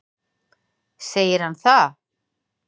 Segir hann það?